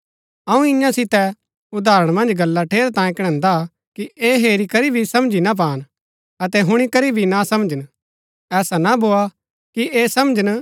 अऊँ ईयां सितै उदाहरण मन्ज गल्ला ठेरैतांये कणैन्दा कि ऐह हेरी करी भी समझी ना पान अतै हुणी करी भी ना समझन ऐसा ना भोआ कि ऐह समझन